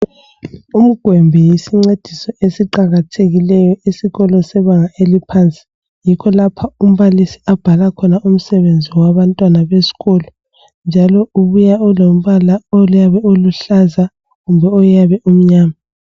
Umgwembe yisincediso esiqakathekileyo esikolo sebanga eliphansi. Yikho lapha umbalisi abhala khona umsebenzi wabantwana besikolo. Njalo buya ulombala oyabe uluhlaza kumbeoyabe omnyama